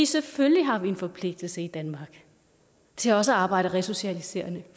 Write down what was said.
selvfølgelig har vi en forpligtelse i danmark til også at arbejde resocialiserende